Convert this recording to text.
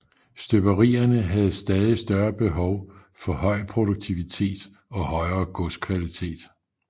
Støberierne havde stadig større behov for høj produktivitet og højere godskvalitet